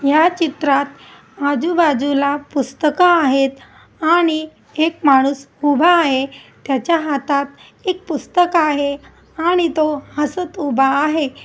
या चित्रात आझु बाजूला पुस्तक आहेत आणि है माणूस उभा आहे त्याच्या हातात एक पुस्तक आहे आणि तो हसत उभा आहे.